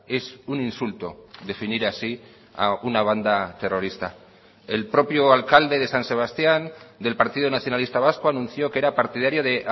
es un insulto definir así a una banda terrorista el propio alcalde de san sebastián del partido nacionalista vasco anunció que era partidario de